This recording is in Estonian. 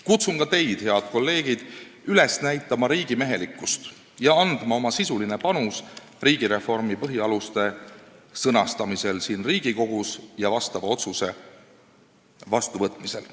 Kutsun ka teid, head kolleegid, üles näitama riigimehelikkust ja andma oma sisuline panus riigireformi põhialuste sõnastamisel siin Riigikogus ja otsuse vastuvõtmisel.